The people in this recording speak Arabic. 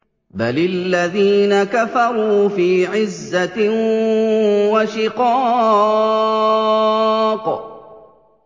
بَلِ الَّذِينَ كَفَرُوا فِي عِزَّةٍ وَشِقَاقٍ